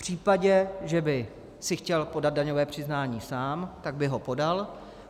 V případě, že by si chtěl podat daňové přiznání sám, tak by ho podal.